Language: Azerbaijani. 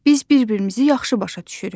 Biz bir-birimizi yaxşı başa düşürük.